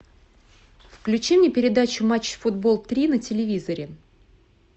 включи мне передачу матч футбол три на телевизоре